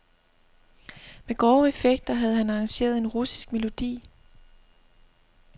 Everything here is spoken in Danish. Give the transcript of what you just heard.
Med grove effekter havde han arrangeret en russisk melodi.